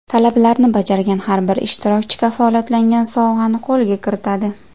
Talablarni bajargan har bir ishtirokchi kafolatlangan sovg‘ani qo‘lga kiritadi.